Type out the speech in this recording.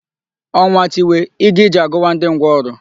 Ọnwa tiwe, ịga ije agụwa ndị ngwụrọ.